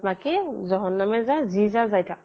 বাকী জহন্নামে যা যি যা যাই থাক